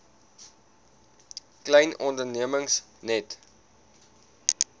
klein ondernemings net